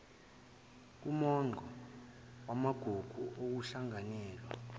kumongo wamagugu okuhlanganyela